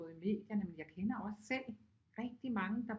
Både i medierne men jeg kender også selv rigtig mange der